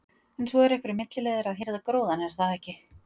En svo eru einhverjir milliliðir að hirða gróðann, er það ekki?